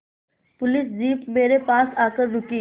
police jeep मेरे पास आकर रुकी